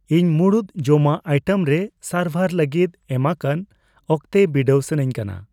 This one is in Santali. ᱤᱧ ᱢᱩᱲᱩᱫ ᱡᱚᱢᱟᱜ ᱟᱭᱴᱮᱢ ᱨᱮ ᱥᱟᱨᱵᱷᱟᱨ ᱞᱟᱹᱜᱤᱫ ᱮᱢᱟᱠᱟᱱ ᱚᱠᱛᱮ ᱵᱤᱰᱟᱹᱣ ᱥᱟᱱᱟᱧ ᱠᱟᱱᱟ ᱾